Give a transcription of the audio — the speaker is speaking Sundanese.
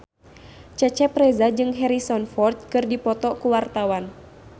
Cecep Reza jeung Harrison Ford keur dipoto ku wartawan